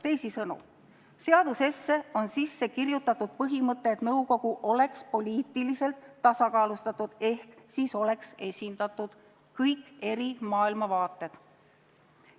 " Teisisõnu, seadusesse on sisse kirjutatud põhimõte, et nõukogu oleks poliitiliselt tasakaalustatud ehk et selles oleks esindatud kõik eri maailmavaated.